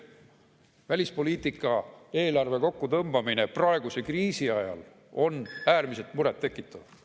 Välispoliitika eelarve kokkutõmbamine praeguse kriisi ajal on äärmiselt muret tekitav.